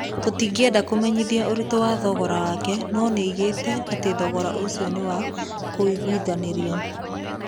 Tũtingĩenda kũmenyithania ũritũ wa thogora wake no nĩoigĩte atĩ thogora ũcio nĩ wa kũiguithanĩria.